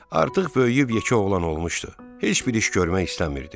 Artıq böyüyüb yekə oğlan olmuşdu, heç bir iş görmək istəmirdi.